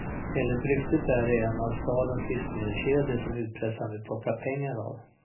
Enligt ryktet är det en av stadens livsmedelskedjor som utpressaren vill plocka pengar av.